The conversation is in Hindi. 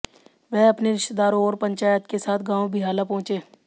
वह अपने रिश्तेदारों और पंचायत के साथ गांव बिहाला पहुंचे